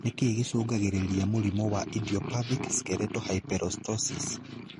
Nĩkĩĩ gĩcungagĩrĩria mũrimu wa idiopathic skeletal hyperostosis